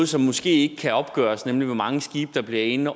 som måske ikke kan opgøres nemlig hvor mange skibe der bliver ind